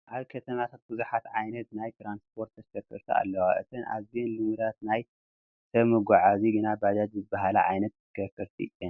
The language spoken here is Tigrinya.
ኣብ ከተማታት ብዙሓት ዓይነት ናይ ትራንስፖርት ተሽከርከርቲ ኣለዋ፡፡ እተን ኣዝየን ልሙዳት ናይ ሰብ መጓዓዓዚ ግን ባጃጅ ዝበሃላ ዓይነት ተሽከርከርቲ እየን፡፡